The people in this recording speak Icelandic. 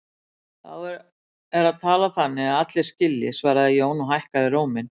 Þá er að tala þannig að allir skilji, svaraði Jón og hækkaði róminn.